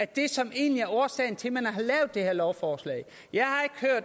det er som egentlig er årsagen til at man har lavet det her lovforslag